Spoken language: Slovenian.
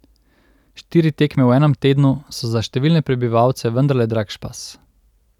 Štiri tekme v enem tednu so za številne prebivalce vendarle drag špas.